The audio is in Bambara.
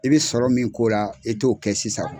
I bi sɔrɔ min k'o la i t'o kɛ sisan.